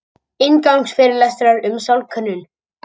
Inngangsfyrirlestrar um sálkönnun.